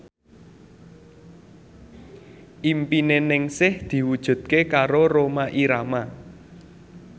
impine Ningsih diwujudke karo Rhoma Irama